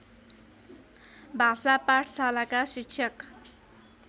भाषा पाठशालाका शिक्षक